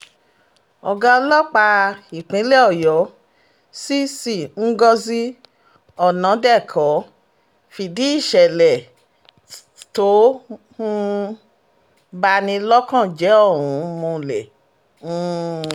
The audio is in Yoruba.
ọ̀gá ọlọ́pàá ìpínlẹ̀ ọ̀yọ́ cc ngozi ọ̀nàdẹ̀kọ́ fìdí ìṣẹ̀lẹ̀ tó um bá ní lọ́kàn jẹ́ ohun múlẹ̀ um